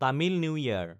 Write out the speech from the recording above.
Tamil new ইয়াৰ